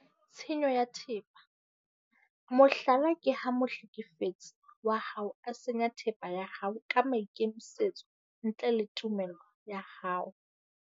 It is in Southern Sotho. Tshenyo ya thepa, mohlala ke ha mohlekefetsi wa hao a senya thepa ya hao ka maikemisetso ntle le tumello ya hao.